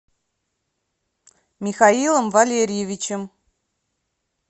михаилом валерьевичем